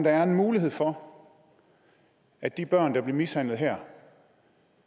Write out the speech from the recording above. er en mulighed for at de børn der blev mishandlet her